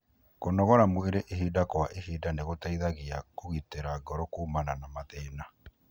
Kũnogora mwĩrĩ ihinda kwa ihinda nĩ gũteithagia kũgitira ngoro kumana na mathina.